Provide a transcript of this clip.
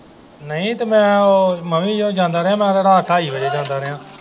ਨਹੀਂ ਤੇ ਮੈਂ ਮਨੀਮਹੇਸ਼ ਜਾਂਦਾ ਰਿਹਾ ਮੈਂ ਤੇ ਰਾਤ ਢਾਈ ਵਜੇ ਜਾਂਦਾ ਰਿਹਾ।